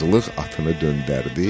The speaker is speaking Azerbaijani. Qazılıq atını döndərdi,